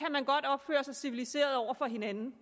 godt opføre sig civiliseret over for hinanden